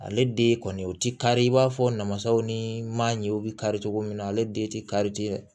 Ale den kɔni o ti kari i b'a fɔ namasaw ni manjew bɛ kari cogo min na ale den tɛ kari tɛ